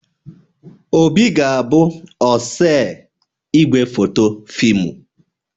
Obi ga-abụ osee igwefoto fịmụ